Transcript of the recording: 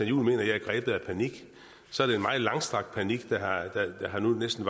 juhl at jeg er grebet af panik så er det en meget langstrakt panik der nu næsten